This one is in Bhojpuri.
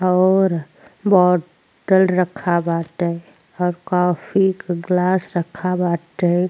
और बॉटल रखा बाटे और कॉफी के ग्लास रखा बाटे।